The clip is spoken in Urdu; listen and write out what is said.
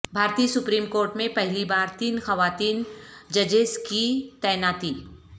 بھارتی سپریم کورٹ میں پہلی بار تین خواتین ججز کی تعیناتی